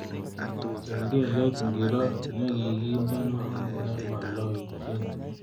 Kengelet ngiro negigindeno nemaloityini